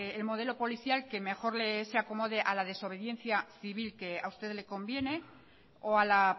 el modelo policial que mejor se acomode a la desobediencia civil que a usted le conviene o a la